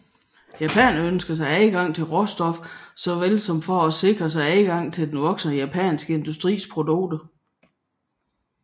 Japanerne ønskede sig adgang til råstoffer såvel som at sikre sig et marked for den voksende japanske industris produkter